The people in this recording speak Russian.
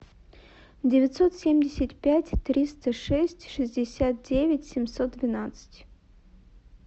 девятьсот семьдесят пять триста шесть шестьдесят девять семьсот двенадцать